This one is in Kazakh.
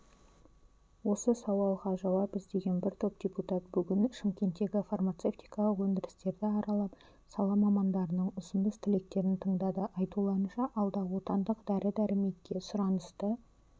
осы сауалға жауап іздеген бір топ депутат бүгін шымкенттегі фармацевтикалық өндірістерді аралап сала мамандарының ұсыныс-тілектерін тыңдады айтуларынша алда отандық дәрі-дәрмекке сұранысты